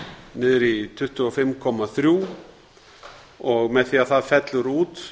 niður í tuttugu og fimm komma þrjú prósent og með því að það fellur út